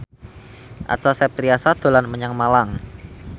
Acha Septriasa dolan menyang Malang